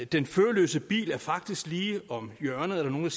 den førerløse bil er faktisk lige om hjørnet er der nogle